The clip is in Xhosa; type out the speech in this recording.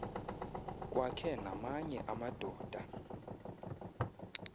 kwakhe namanye amadoda